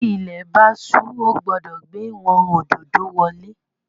Tí ilé bá su o gbódò gbé wón ododo wolè